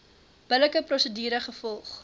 billike prosedure gevolg